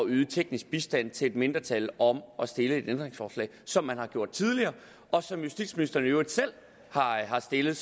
yde teknisk bistand til et mindretal om at stille et ændringsforslag som man har gjort tidligere og som justitsministeren i øvrigt selv har stillet